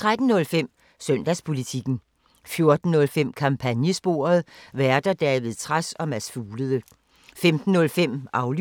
13:05: Søndagspolitikken 14:05: Kampagnesporet: Værter: David Trads og Mads Fuglede 15:05: Aflyttet